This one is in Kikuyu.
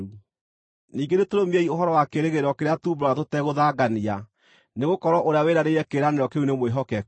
Ningĩ nĩtũrũmiei ũhoro wa kĩĩrĩgĩrĩro kĩrĩa tuumbũraga tũtegũthangania, nĩgũkorwo ũrĩa wĩranĩire kĩĩranĩro kĩu nĩ mwĩhokeku.